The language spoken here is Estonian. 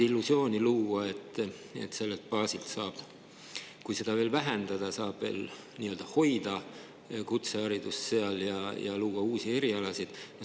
Illusiooni luua, et sellelt baasilt, kui seda veel vähendada, saab hoida kutseharidust seal ja luua uusi erialasid ...